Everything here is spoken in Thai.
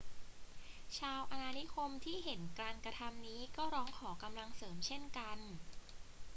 ชาวอาณานิคมที่เห็นการกระทำนี้ก็ร้องขอกำลังเสริมเช่นกัน